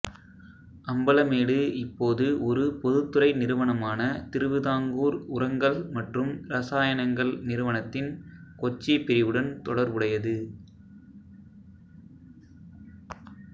அம்பலமேடு இப்போது ஒரு பொதுத்துறை நிறுவனமான திருவிதாங்கூர் உரங்கள் மற்றும் இரசாயனங்கள் நிறுவனத்தின் கொச்சி பிரிவுடன் தொடர்புடையது